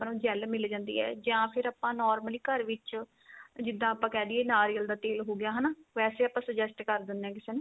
gel ਮਿਲ ਜਾਂਦੀ ਏ ਜਾਂ ਫ਼ਿਰ ਆਪਾਂ normally ਘਰ ਵਿੱਚ ਜਿੱਦਾਂ ਆਪਾਂ ਕਹਿ ਦਈਏ ਨਾਰਿਅਲ ਦਾ ਤੇਲ ਹੋ ਗਿਆ ਹਨਾ ਵੈਸੇ ਆਪਾਂ suggest ਕ਼ਰ ਦੇਣੇ ਆ ਕਿਸੇ ਨੂੰ